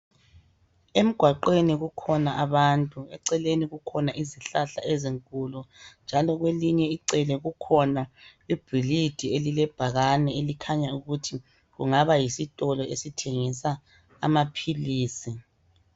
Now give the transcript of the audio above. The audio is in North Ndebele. Emgwaqeni kukhona abantu, eceleni kukhona izihlahla ezinkulu njalo kwelinye icele kukhona ibhilidi elilebhakane elikhanya ukuthi kungaba yisitolo esithengisa amaphilisi.